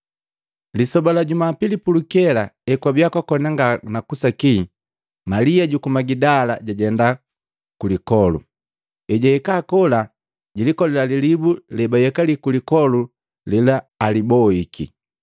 Lisoba la jumapili pulukela, ekwabiya kwakona nga na kusaki, Malia juku Magidala jajenda ku lipole. Ejahika kola jilikolila lilibu lebayekali lipole lela aliboiki.